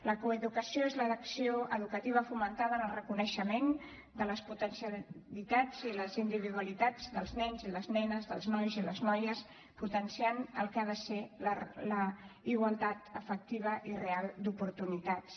la coeducació és l’acció educativa fomentada en el reconeixement de les potencialitats i les individualitats dels nens i les nenes dels nois i les noies que potencia el que ha de ser la igualtat efectiva i real d’oportunitats